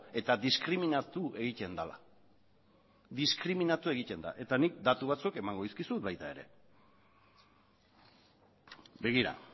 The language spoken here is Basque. eta diskriminatu egiten dela diskriminatu egiten da eta nik datu batzuk emango dizkizut baita ere begira